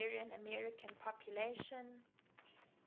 hungarian american population